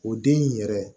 O den in yɛrɛ